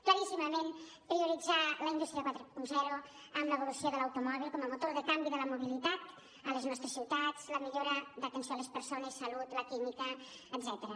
claríssimament prioritzar la indústria quaranta amb l’evolució de l’automòbil com a motor de canvi de la mobilitat a les nostres ciutats la millora d’atenció a les persones salut la química etcètera